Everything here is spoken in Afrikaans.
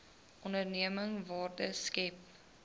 onderneming waarde skep